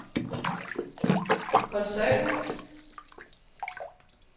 koncernens